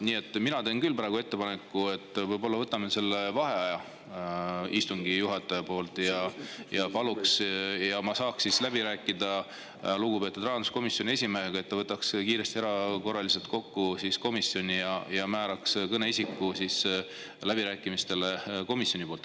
Nii et mina teen küll ettepaneku, et võtame vaheaja istungi juhataja poolt ja ma saaks läbi rääkida lugupeetud rahanduskomisjoni esimehega, et ta võtaks komisjoni kiiresti erakorraliselt kokku ja määraks läbirääkimistele kõneisiku komisjoni poolt.